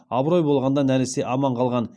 абырой болғанда нәресте аман қалған